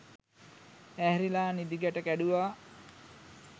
ඇහැරිලා නිදි ගැට කැඩුවා